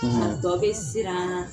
A tɔ bɛ siran